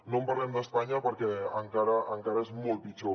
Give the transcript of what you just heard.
no parlem d’espanya perquè encara és molt pitjor